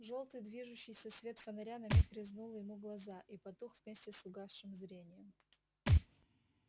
жёлтый движущийся свет фонаря на миг резнул ему глаза и потух вместе с угасшим зрением